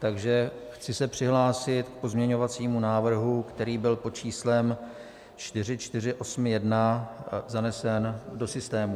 Takže chci se přihlásit k pozměňovacímu návrhu, který byl pod číslem 4481 zanesen do systému.